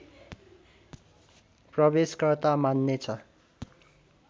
प्रवेशकर्ता मान्नेछ